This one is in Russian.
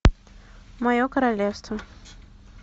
мое королевство